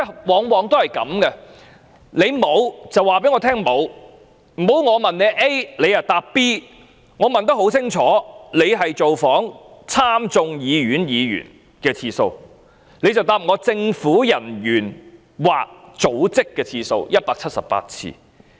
我的質詢很清楚，我是問華盛頓經貿辦人員造訪美國眾議院議員和參議院議員的次數，而政府卻答覆我高級政府人員/組織的次數為178次。